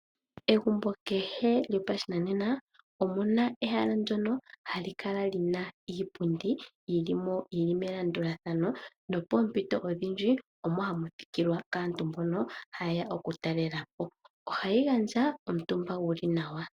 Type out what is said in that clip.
Megumbo kehe lyopashinanena omu na ehala ndyono hali kala li na iipundi yi li mo yi li melandulathana nopoompito odhindji omo hamu thikilwa kaantu mbono haye ya okutalela po. Ohayi gandja omutumba gu li nawa.